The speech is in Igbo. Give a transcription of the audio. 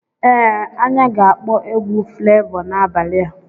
Ee anya ga-akpọ egwu Flevọ n'abalị a.